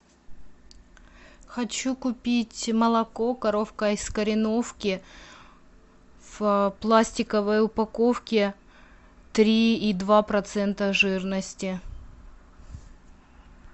хочу купить молоко коровка из кореновки в пластиковой упаковке три и два процента жирности